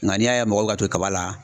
Nga n'i y'a ye mɔgɔw bɛ ka to kaba la